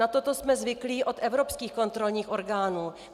Na toto jsme zvyklí od evropských kontrolních orgánů.